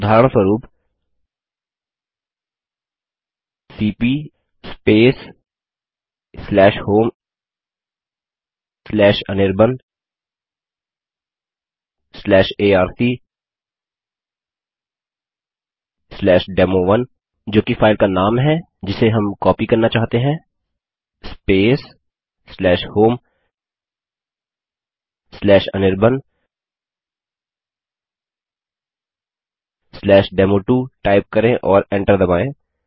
उदाहरणस्वरूप सीपी homeanirbanarcdemo1जो कि फाइल का नाम है जिसे हम कॉपी करना चाहते हैं homeanirbandemo2 टाइप करें और एंटर दबायें